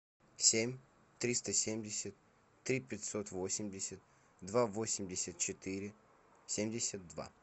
семь триста семьдесят три пятьсот восемьдесят два восемьдесят четыре семьдесят два